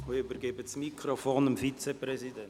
Ich übergebe das Mikrofon dem Vizepräsidenten.